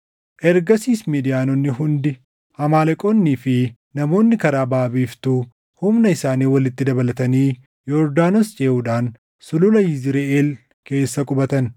Ergasiis Midiyaanonni hundi, Amaaleqoonnii fi namoonni karaa baʼa biiftuu humna isaanii walitti dabalatanii Yordaanos ceʼuudhaan Sulula Yizriʼeel keessa qubatan.